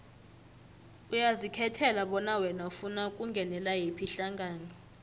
uyazikhethela bona wena ufuna ukungenela yiphi ihlangano